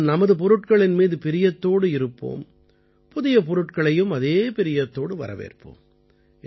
நாம் நமது பொருட்களின் மீது பிரியத்தோடு இருப்போம் புதிய பொருட்களையும் அதே பிரியத்தோடு வரவேற்போம்